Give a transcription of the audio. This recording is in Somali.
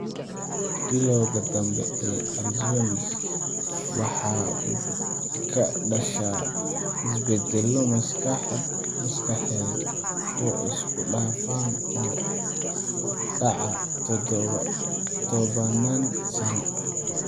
Bilowga dambe ee Alzheimers waxa uu ka dhashaa isbeddello maskaxeed oo isku dhafan oo dhaca tobannaan sano.